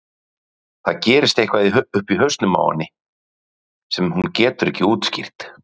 Og það gerist eitthvað uppi í hausnum á henni sem hún getur ekki skýrt.